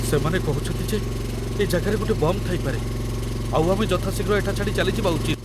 ସେମାନେ କହୁଚନ୍ତି ଯେ ଏ ଜାଗାରେ ଗୋଟେ ବମ୍ ଥାଇପାରେ, ଆଉ ଆମେ ଯଥାଶୀଘ୍ର ଏଠା ଛାଡ଼ି ଚାଲିଯିବା ଉଚିତ ।